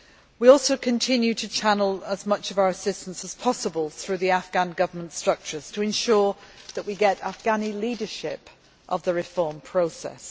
We also continue to channel as much of our assistance as possible through the Afghan Government structures to ensure that we get Afghani leadership of the reform process.